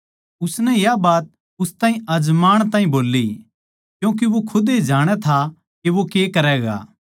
उसनै या बात उस ताहीं आजमाण ताहीं बोल्ली क्यूँके वो खुदे जाणै था के वो के करैगा